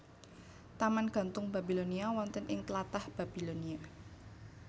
Taman Gantung Babilonia wonten ing tlatah Babilonia